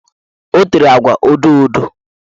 O tere agwa odoodo